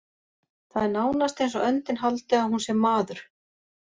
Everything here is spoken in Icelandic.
Það er nánast eins og öndin haldi að hún sé maður.